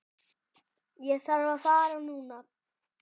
Ég þarf að fara núna